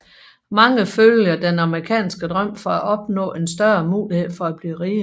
Mange følger den amerikanske drøm for at opnå en større mulighed for at blive rige